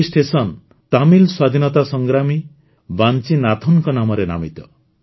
ଏହି ଷ୍ଟେସନ ତାମିଲ ସ୍ୱାଧୀନତା ସଂଗ୍ରାମୀ ବାଂଚିନାଥନଙ୍କ ନାମରେ ନାମିତ